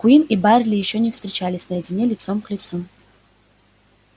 куинн и байерли ещё не встречались наедине лицом к лицу